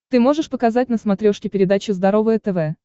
ты можешь показать на смотрешке передачу здоровое тв